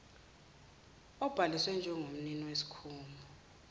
obhaliswe njengomnini wesikhungo